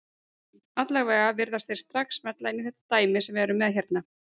Allavega virðast þeir strax smella inn í þetta dæmi sem við erum með hérna.